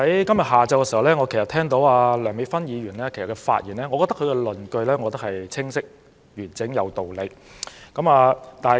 今天下午聽罷梁美芬議員的發言，我認為她論據清晰、完整而有理。